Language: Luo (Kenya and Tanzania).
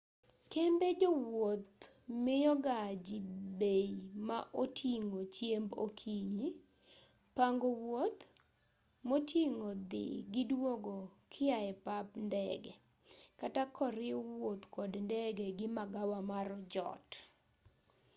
kembe jowuoth miyoga ji bei ma oting'o chiemb okinyi pango wuoth moting'o dhi gi duogo kiae pap ndege kata koriw wuoth kod ndege gi magawa mar jot